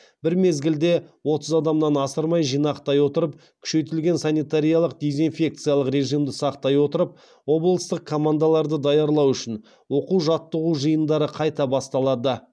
бір мезгілде отыз адамнан асырмай жинақтай отырып күшейтілген санитариялық дезинфекциялық режимді сақтай отырып облыстық командаларды даярлау үшін оқу жаттығу жиындары қайта басталады